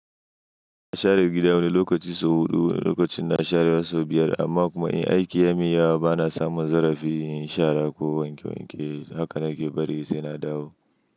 Na share gida wani lokaci sau huɗu, wani lokacin na share wasu biyar amma kuma in aiki ya miya bana samun zarafi yin shara ko wanke wanke haka nake bari sai na dawo.